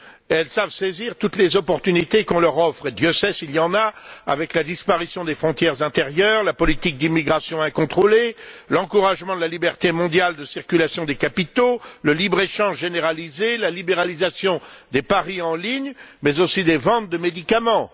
Elles savent saisir toutes les occasions qu'on leur offre, Dieu sait s'il y en a, avec la disparition des frontières intérieures, la politique d'immigration incontrôlée, l'encouragement de la liberté mondiale de circulation des capitaux, le libre échange généralisé, la libéralisation des paris en ligne, mais aussi des ventes de médicaments.